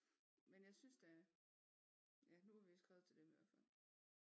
Men jeg synes da ja nu vi skrevet til dem i hvert fald